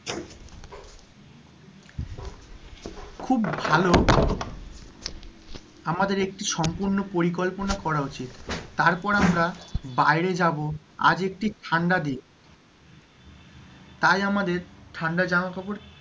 খুব ভালো আমদের একটি সম্পূর্ণ পরিকল্পনা করা উচিৎ, তারপর আমরা বাইরে যাবো, আজ একটি ঠান্ডা দিন, তাই আমাদের ঠান্ডা জামাকাপড়,